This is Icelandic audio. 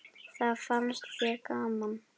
Það fannst þér gaman.